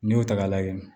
N'i y'o ta k'a lajɛ